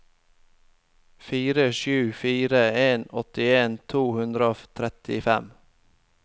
fire sju fire en åttien to hundre og trettifem